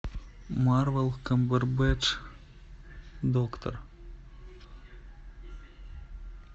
марвел камбербэтч доктор